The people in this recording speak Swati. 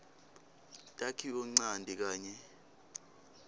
takhiwo ncanti kanye